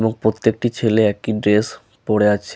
এবং প্রত্যেকটি ছেলে একি ড্রেস পরে আছে।